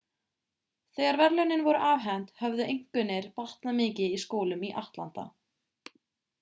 þegar verðlaunin voru afhent höfðu einkunnir batnað mikið í skólum í atlanta